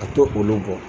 A to olu bɔ